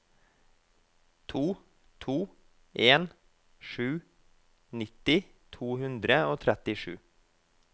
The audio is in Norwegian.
to to en sju nitti to hundre og trettisju